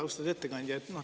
Austatud ettekandja!